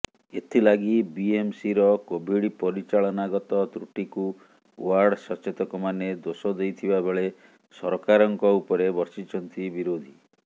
ଏଥିଲାଗି ବିଏମସିର କୋଭିଡ୍ ପରିଚାଳନାଗତ ତ୍ରୁଟିକୁ ଓ୍ୱାର୍ଡ ସଚେତକମାନେ ଦୋଷ ଦେଇଥିବା ବେଳେ ସରକାରଙ୍କ ଉପରେ ବର୍ଷିଛନ୍ତି ବିରୋଧୀ